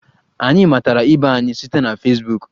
Anyị matara ibe anyị site na Fesbuk.